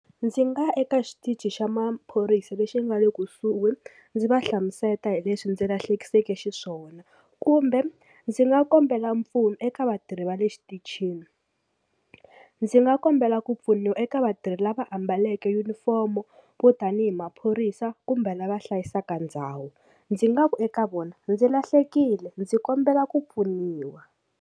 Ndzi nga eka xitichi xa maphorisa lexi nga le kusuhi ndzi va hlamusela hi leswi ndzi lahlekiseke xiswona kumbe ndzi nga kombela mpfuno eka vatirhi va le xitichini ndzi nga kombela ku pfuniwa eka vatirhi lava ambaleke yunifomo vo tanihi maphorisa kumbe lava hlayisaka ndhawu ndzi nga ku eka vona ndzi lahlekile ndzi kombela ku pfuniwa.